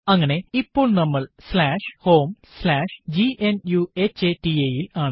അങ്ങനെ ഇപ്പോൾ നമ്മൾ homegnuhata ൽ ആണ്